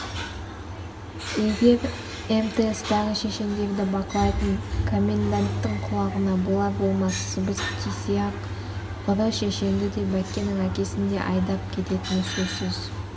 егер мтстағы шешендерді бақылайтын коменданттың құлағына болар-болмас сыбыс тисе-ақ ұры шешенді де бәккенің әкесін де айдап әкететіні сөзсіз